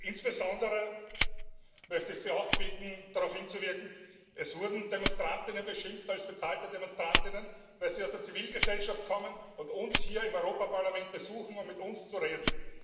Insbesondere möchte ich Sie auch bitten auf Folgendes hinzuwirken Es wurden Demonstrantinnen beschimpft als bezahlte Demonstrantinnen, weil sie aus der Zivilgesellschaft kommen und uns hier im Europäischen Parlament besuchen, um mit uns zu reden.